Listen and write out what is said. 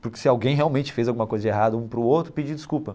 Porque se alguém realmente fez alguma coisa de errada um para o outro, pedir desculpa.